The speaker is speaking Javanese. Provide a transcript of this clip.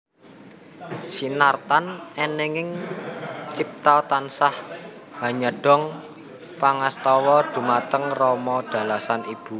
Sinartan eninging cipta tansah hanyadong pangastawa dhumateng rama dalasan ibu